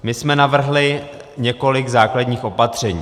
My jsme navrhli několik základních opatření.